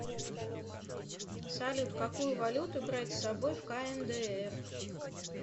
салют какую валюту брать с собой в кндр